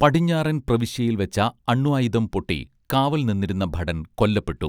പടിഞ്ഞാറൻ പ്രവിശ്യയിൽ വെച്ച അണ്വായുധം പൊട്ടി കാവൽ നിന്നിരുന്ന ഭടൻ കൊല്ലപ്പെട്ടു